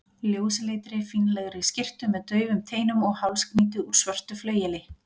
ljósleitri, fínlegri skyrtu með daufum teinum og hálsknýti úr svörtu flaueli.